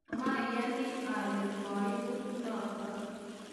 mayani ale koibut noto